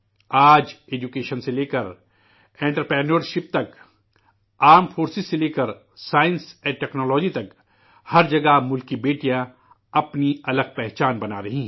آج، تعلیم سے لے کر کاروبار تک، مسلح افواج سے لے کرسائنس و ٹکنالوجی تک، ہر جگہ ملک کی بیٹیاں، اپنی، الگ شناخت بنا رہی ہیں